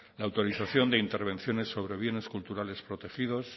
la autorización de intervenciones sobre bienes culturales protegidos